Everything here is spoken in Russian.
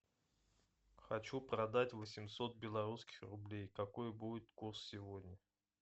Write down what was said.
хочу продать восемьсот белорусских рублей какой будет курс сегодня